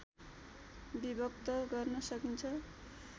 विभक्त गर्न सकिन्छ